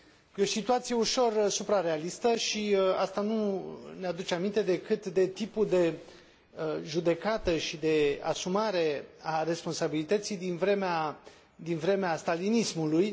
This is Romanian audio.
E o situație ușor suprarealistă și asta nu ne aduce aminte decât de tipul de judecată și de asumare a responsabilității din vremea stalinismului.